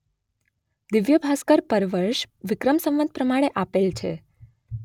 દિવ્ય્ભાસ્કર પરવર્ષ વિક્રમ સંવત પ્રમાણે આપેલ છે.